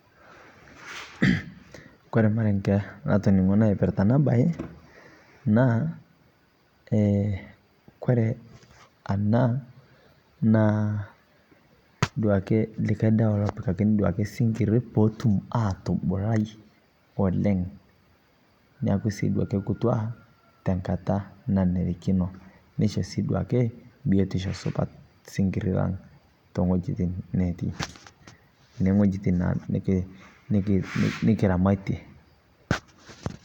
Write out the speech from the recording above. kore olmarenge latoningo latoningo naipirta ana baye naa kore ana naa duake likai dawa loopikakini duake sinkiri pootum atubulai oleng neaku sii duake lkutua tankataa nainerikino neisho sii duake biotisho supat sinkirii lang tengojitin naa nikiramatie